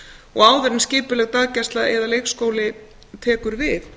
og áður en skipuleg daggæsla eða leikskóli tekur við